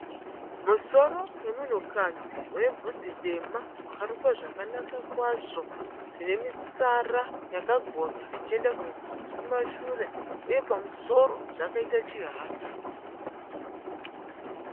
Musoro wemunhukadzi unebvudzi dema wakarukwa zvakanaka kwazvo zvinemitsara yakagonya ichienda kumashure uye pamusoro zvakaita chihata.